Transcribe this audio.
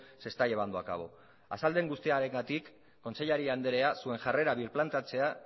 se está llevando a cabo azaldu dudan guztiarengatik kontseilari andrea zuen jarrera birplantatzea